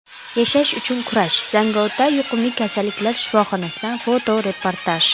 Yashash uchun kurash: Zangiota yuqumli kasalliklar shifoxonasidan fotoreportaj.